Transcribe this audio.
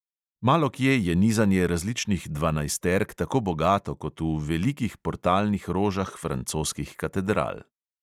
Malokje je nizanje različnih dvanajsterk tako bogato kot v velikih portalnih rožah francoskih katedral.